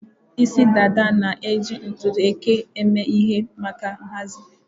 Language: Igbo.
Isi dada na-eji ntutu eke eme ihe maka nhazi.